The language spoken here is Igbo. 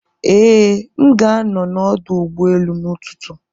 Ee, m ga-anọ n'ọdụ ụgbọ elu n'ụtụtụ.